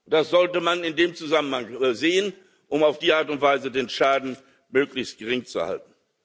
Das sollte man in dem Zusammenhang sehen, um auf die Art und Weise den Schaden möglichst gering zu halten.